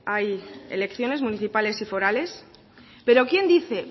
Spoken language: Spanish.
hay elecciones municipales y forales pero quien dice